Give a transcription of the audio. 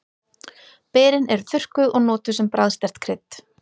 Berin eru þurrkuð og notuð sem bragðsterkt krydd.